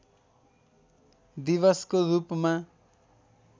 दिवसको रूपमा